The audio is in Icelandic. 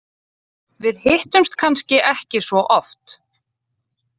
Við hittumst kannski ekki svo oft.